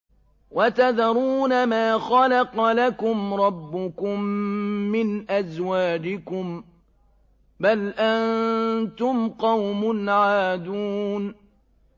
وَتَذَرُونَ مَا خَلَقَ لَكُمْ رَبُّكُم مِّنْ أَزْوَاجِكُم ۚ بَلْ أَنتُمْ قَوْمٌ عَادُونَ